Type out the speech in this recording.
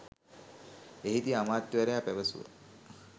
එහිදී අමාත්‍යවරයා පැවසුව